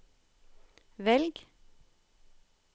velg